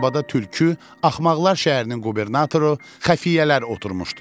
Arabada tülkü, axmaqlar şəhərinin qubernatoru, xəfiyyələr oturmuşdular.